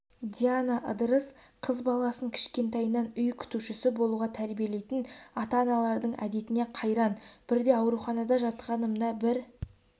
диана ыдырыс қыз баласын кішкентайынан үй күтушісі болуға тәрбиелейтін ата-аналардың әдетіне қайран бірде ауруханада жатқанымда бір